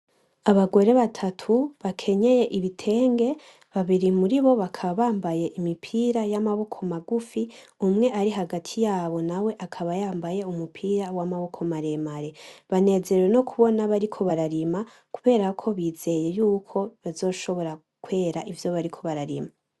Abagore batatu bakenyeye ibitenge, babiri muri bakaba bambaye imipira y'amaboko magufi, umwe ari hagati yabo nawe akaba yambaye umupira w'amaboko maremare. banezerewe no kubona bariko bararima, kuberako bizeye yuko bazoshobora kwera ivyo bariko bararima.